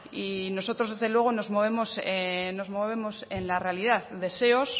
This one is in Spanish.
y nosotros desde luego nos movemos nos movemos en la realidad deseos